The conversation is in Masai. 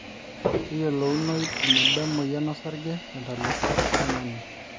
keyiolounoi eneba emoyian osarge te ntalipa oltungani